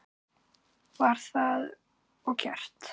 Var það og gert.